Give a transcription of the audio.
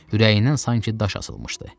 Ürəyindən sanki daş asılmışdı.